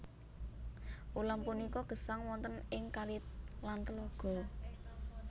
Ulam punika gesang wonten ing kali lan tlaga